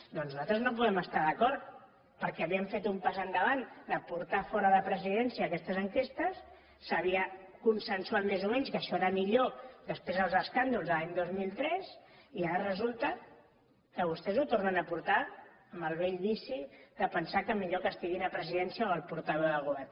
doncs nosaltres no podem estar hi d’acord perquè havíem fet un pas endavant de portar fora de presidència aquestes enquestes s’havia consensuat més o menys que això era millor després dels escàndols de l’any dos mil tres i ara resulta que vostès ho tornen a portar amb el vell vici de pensar que millor que estiguin a presidència o al portaveu del govern